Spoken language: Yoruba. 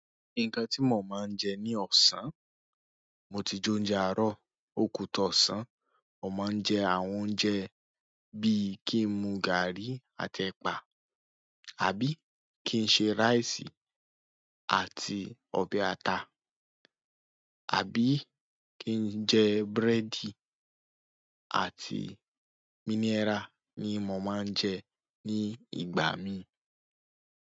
Nǹkan tí mo máa ń jẹ ní ọ̀sán, mo ti jẹ oúnjẹ àárọ̀, ó kú tó ọ̀sán. Mo máa ń jẹ àwọn oúnjẹ bí i kí n mu gàrí àti ẹ̀pà, àbí kí n ṣe ráìsì àti ọbẹ̀ ata, àbí kí n jẹ búrẹ́dì àti mínẹ́rà ní mo máa ń jẹ ní ìgbà mí.